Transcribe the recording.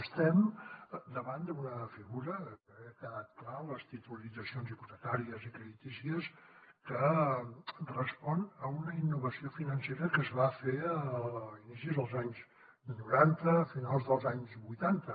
estem davant d’una figura que ha quedat clar les titulitzacions hipotecàries i creditícies que respon a una innovació financera que es va fer a inicis dels anys noranta a finals dels anys vuitanta